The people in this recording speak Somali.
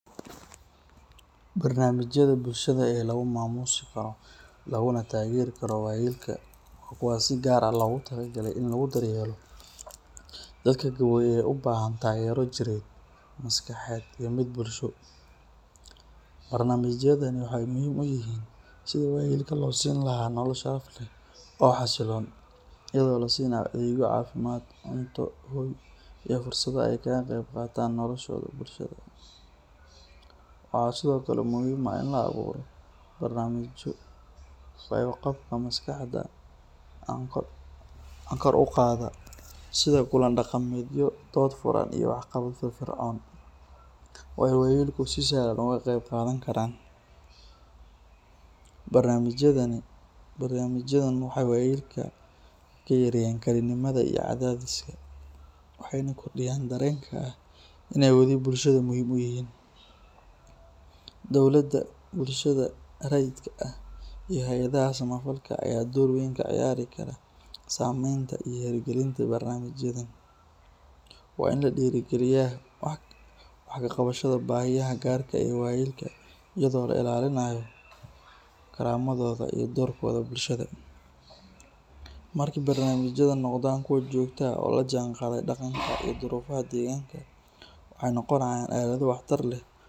Barnaamijyada bulshada ee lagu maamuusi karo laguna taageeri karo waayeelka waa kuwa si gaar ah loogu talagalay in lagu daryeelo dadka gaboobay ee u baahan taageero jireed, maskaxeed iyo mid bulsho. Barnaamijyadani waxa ay muhiim u yihiin sidii waayeelka loo siin lahaa nolol sharaf leh oo xasiloon, iyadoo la siinayo adeegyo caafimaad, cunto, hoy, iyo fursado ay kaga qayb qaataan nolosha bulshada. Waxaa sidoo kale muhiim ah in la abuuro barnaamijyo fayo-qabka maskaxda ah kor u qaada, sida kulan-dhaqameedyo, dood furan, iyo waxqabado firfircoon oo ay waayeelku si sahlan uga qayb qaadan karaan. Barnaamijyadan waxay waayeelka ka yareeyaan kalinimada iyo cadaadiska, waxayna kordhiyaan dareenka ah inay wali bulshada muhiim u yihiin. Dowladda, bulshada rayidka ah, iyo hay’adaha samafalka ayaa door weyn ka ciyaari kara samaynta iyo hirgelinta barnaamijyadan. Waa in la dhiirrigeliyaa wax ka qabashada baahiyaha gaarka ah ee waayeelka iyadoo la ilaalinayo karaamadooda iyo doorkooda bulshada. Markii barnaamijyadu noqdaan kuwo joogto ah oo la jaanqaadaya dhaqanka iyo duruufaha deegaanka, waxay noqonayaan aalado waxtar leh.